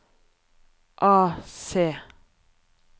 AC